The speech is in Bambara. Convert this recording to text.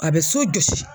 A bɛ so jɔsi